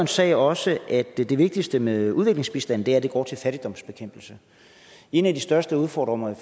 sagde også at det det vigtigste med udviklingsbistanden er at den går til fattigdomsbekæmpelse en af de største udfordringer i